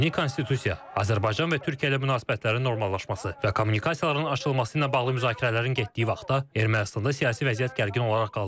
Yeni konstitusiya, Azərbaycan və Türkiyə ilə münasibətlərin normallaşması və kommunikasiyaların açılması ilə bağlı müzakirələrin getdiyi vaxtda Ermənistanda siyasi vəziyyət gərgin olaraq qalır.